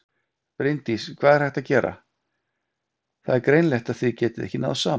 Bryndís: Hvað er hægt að gera, það er greinilegt að þið getið ekki náð saman?